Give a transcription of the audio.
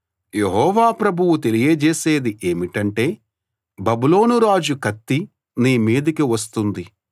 యెహోవా ప్రభువు తెలియజేసేది ఏమిటంటే బబులోను రాజు కత్తి నీ మీదికి వస్తుంది